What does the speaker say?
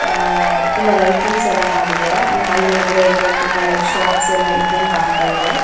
ಅಹ್ ah ತುಂಬ lightings ಎಲ್ಲ ಮಾಡಿದ್ದಾರೆ ಅಂಡ್ ಅದ್ರೊಲ್ಲಗೆ ತುಂಬ ಶೊಪ್ಸ್ ಇದ್ದಂಗೆ ಕಾಂತಾ ಇದೆ.